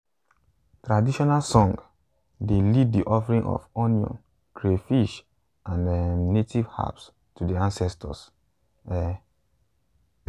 traditional song dey lead the offering of onions crayfish and um native herbs to the ancestors. um